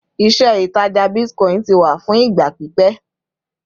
ìṣe ìtajà bitcoin ti wà fún ìgbà pípé